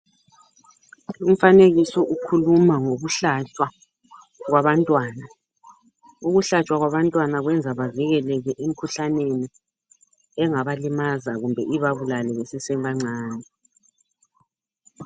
Umfanekiso ukhuluma ngokuhlatshwa kwabantwana ukuhlatshwa kwabantwana kubenza bavikeleke emkhuhlaneni engabalimaza kumbe ibabulale besesebancane.